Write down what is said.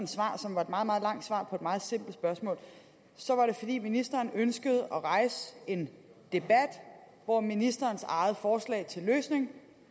svar som var et meget meget langt svar på et meget simpelt spørgsmål at fordi ministeren ønskede at rejse en debat hvor ministerens eget forslag til løsning